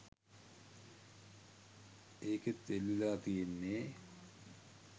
ඒකෙත් එල්ලිලා තියෙන්නේ